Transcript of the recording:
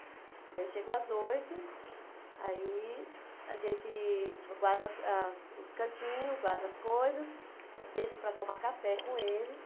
Aí eu chego às oito, aí a gente guar guarda as os cantinhos, guarda as coisas, deixo para tomar café com eles.